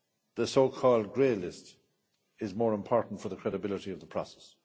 The so called grey list is more important for the credibility of the process.